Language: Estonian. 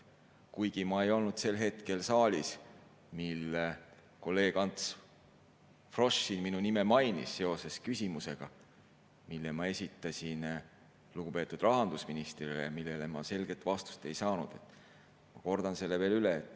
Kuigi ma ei olnud sel hetkel saalis, kui kolleeg Ants Frosch siin minu nime mainis seoses küsimusega, mille ma esitasin lugupeetud rahandusministrile ja millele ma selget vastust ei saanud, siis ma kordan selle veel üle.